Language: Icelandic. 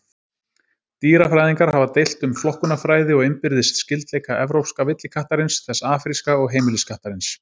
Dýrafræðingar hafa deilt um flokkunarfræði og innbyrðis skyldleika evrópska villikattarins, þess afríska og heimiliskattarins.